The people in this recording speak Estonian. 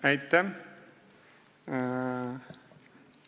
Aitäh!